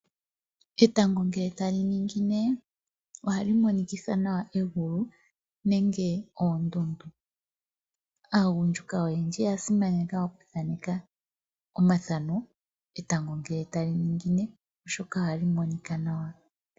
Etango ngele ta li ningine ohali monikitha nawa egulu nenge ondundu. Aagundjuka oyendji oya simaneka oku kutha omathano etango ngele tali ningine oshoka ohali monika nawa.